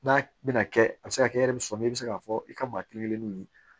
N'a bɛna kɛ a bɛ se ka kɛ e yɛrɛ bɛ sɔ min bɛ se k'a fɔ i ka maa kelen kelennu ye